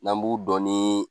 N'an b'u dɔn ni